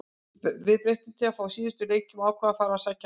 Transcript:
Við breyttum til frá síðustu leikjum og ákváðum að fara að sækja meira.